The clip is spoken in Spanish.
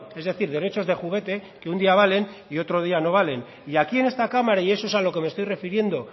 es decir derechos de juguete que un día valen y otro día no valen y aquí en esta cámara y eso es a lo que me estoy refiriendo